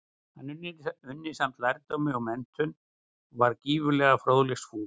Hann unni samt lærdómi og menntun, og var gífurlega fróðleiksfús.